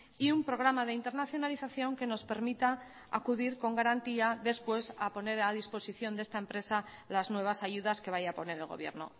y un programa de internacionalización que nos permita acudir con garantía después a poner a disposición de esta empresa las nuevas ayudas que vaya a poner el gobierno